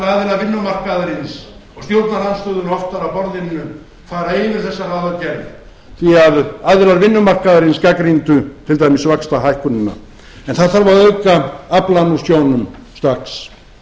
aðila vinnumarkaðarins og stjórnarandstöðuna oftar að borðinu og fara yfir þessa ráðagerð því aðilar vinnumarkaðarins gagnrýndu til dæmis vaxtahækkunina en það þarf að auka aflann úr sjónum strax